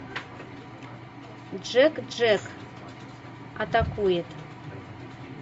джек джек атакует